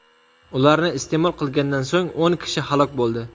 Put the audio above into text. Ularni iste’mol qilgandan so‘ng o‘n kishi halok bo‘ldi.